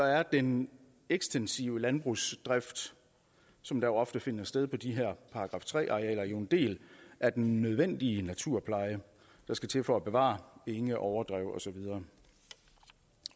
er den ekstensive landbrugsdrift som jo oftest finder sted på de her § tre arealer en del af den nødvendige naturpleje der skal til for at bevare enge overdrev og så videre